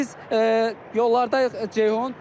Biz yollardayıq Ceyhun.